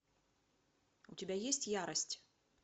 у тебя есть ярость